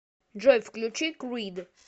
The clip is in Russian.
джой включи крид